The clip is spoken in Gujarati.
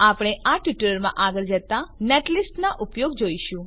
આપણે આ ટ્યુટોરીયલમાં આગળ જતા નેટલિસ્ટ નાં ઉપયોગ જોઈશું